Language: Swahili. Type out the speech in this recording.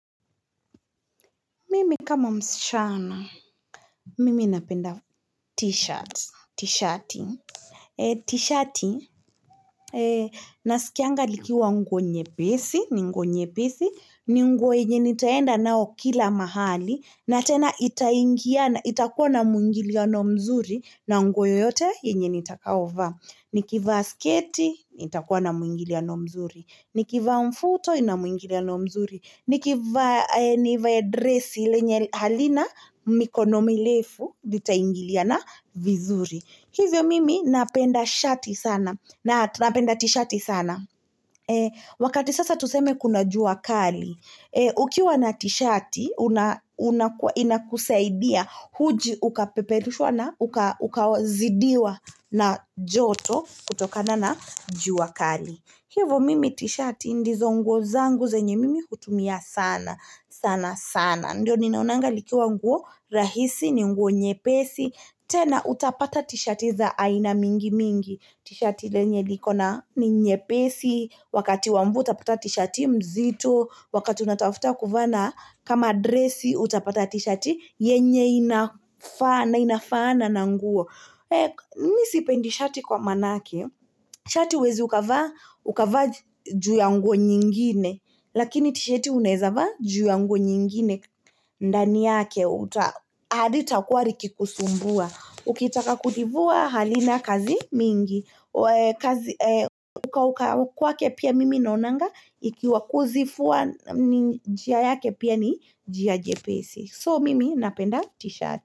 Mimi kama msichana, mimi napenda t-shirt, t-shati, t-shati, naskianga likiwa nguo nyepesi, ni nguo nyepesi, ni nguo yenye nitaenda nao kila mahali, na tena itaingiana itakuwa na muingiliano mzuri, na nguo yote yenye nitakao vaa. Nikiva sketi, nitakuwa na muingiliano mzuri Nikiva mfuto, inamuingiliano mzuri Nikiva dresi, lenye halina mikono mirefu, litangiliana vizuri Hivyo mimi napenda shati sana napenda ti-shati sana Wakati sasa tuseme kuna jua kali ukiwa na tishati, inakusaidia huji ukapeperushwa na ukazidiwa na joto kutokana na jua kali. Hivyo mimi ti-shati ndizo nguo zangu zenye mimi hutumia sana, sana sana. Ndiyo ninaonanga likiwa nguo rahisi ni nguo nyepesi, tena utapata ti-shati za aina mingi mingi. T-shati lenye likona ni nyepesi, wakati wa mvua utapata t-shati mzito, wakati unatafuta kuvaa na, kama dresi utapata t-shati yenye inafaana, inafaana na nguo. Mimi sipendi shati kwa manake, shati huwezi ukavaa, ukavaa juu ya nguo nyingine, lakini t-shati uneza vaa juu ya nguo nyingine. Ndani yake halita k wa likikusumbua ukitaka kutivua halina kazi mingi kukauka kwake pia mimi naonanga ikiwa kuzifua njia yake pia ni njia jepesi so mimi napenda t-shirt.